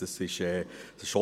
Das ist so.